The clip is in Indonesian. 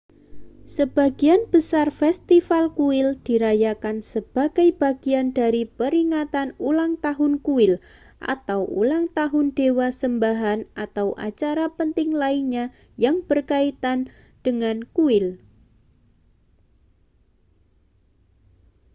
sebagian besar festival kuil dirayakan sebagai bagian dari peringatan ulang tahun kuil atau ulang tahun dewa sembahan atau acara penting lainnya yang berkaitan dengan kuil